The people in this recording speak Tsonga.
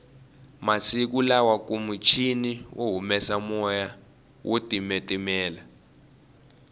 masiku lawakunimichini yo humesa moya wo titimela